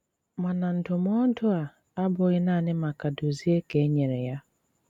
Màna ndụ̀mọ̀du à abụghị nanị maka Dòzìè kà e nyere ya.